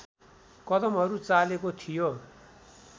कदमहरू चालेको थियो